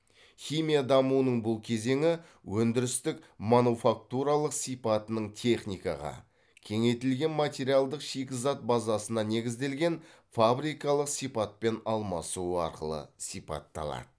химия дамуының бұл кезеңі өндірістік мануфактуралық сипатының техникаға кеңейтілген материалдық шикізат базасына негізделген фабрикалық сипатпен алмасуы арқылы сипатталады